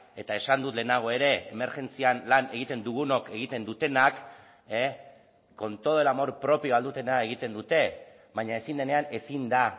eta esan dut lehenago ere emergentzian lan egiten dugunok egiten dutenak con todo el amor propio ahal dutena egiten dute baina ezin denean ezin da